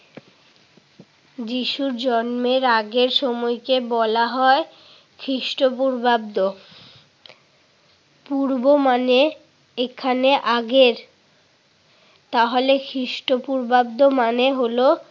যিশু জন্মের আগের সময়কে বলা হয় খ্রিষ্ট পূর্বাব্দ। পূর্ব মানে এখানে আগের তাহলে খ্রিষ্ট পূর্বাব্দ মানে হলো